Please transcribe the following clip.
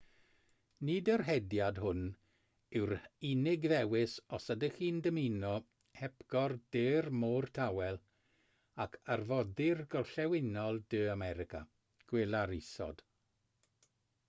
nid yr hediad hwn yw'r unig ddewis os ydych chi'n dymuno hepgor de'r môr tawel ac arfordir gorllewinol de america. gweler isod